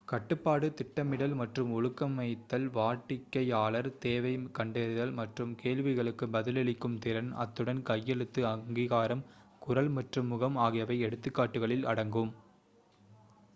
கட்டுப்பாடு திட்டமிடல் மற்றும் ஒழுங்கமைத்தல் வாடிக்கையாளர் தேவை கண்டறிதல் மற்றும் கேள்விகளுக்கு பதிலளிக்கும் திறன் அத்துடன் கையெழுத்து அங்கீகாரம் குரல் மற்றும் முகம் ஆகியவை எடுத்துக்காட்டுகளில் அடங்கும்